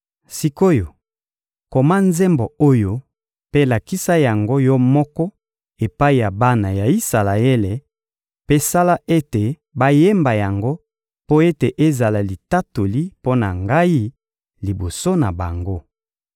Sik’oyo, koma nzembo oyo mpe lakisa yango yo moko epai ya bana ya Isalaele, mpe sala ete bayemba yango mpo ete ezala litatoli mpo na Ngai, liboso na bango.